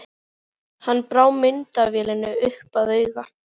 Hann brá myndavélinni upp að auga.